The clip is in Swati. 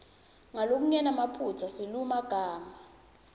ngalokungenamaphutsa silulumagama